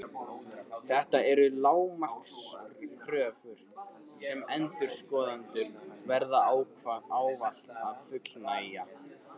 Þetta eru lágmarkskröfur sem endurskoðendur verða ávallt að fullnægja.